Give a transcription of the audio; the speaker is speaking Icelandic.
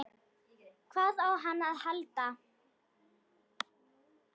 Hvað á hann að halda?